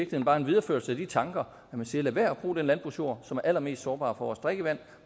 bare en videreførelse af de tanker at man siger lad være at bruge den landbrugsjord som er allermest sårbar for vores drikkevand